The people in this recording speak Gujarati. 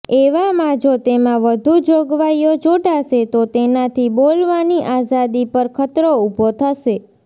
એવામાં જો તેમાં વધુ જોગવાઇઓ જોડાશે તો તેનાથી બોલવાની આઝાદી પર ખતરો ઉભો થશે